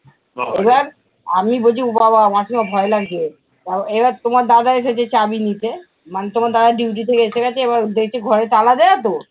আমি বলছি উঃ বাবা মাসিমা ভয় লাগছে। আহ এবার তোমার দাদা এসেছে চাবি নিতে মানে তোমার দাদা duty থেকে এসে গেছে এবার দেখছে ঘরে তালা দেওয়া তো